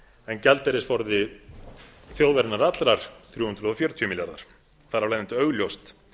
en gjaldeyrisforði þjóðarinnar allrar þrjú hundruð fjörutíu milljarðar þar af leiðandi var augljóst